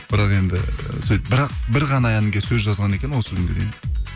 бірақ енді і сөйтіп бірақ бір ғана әнге сөз жазған екен осы күнге дейін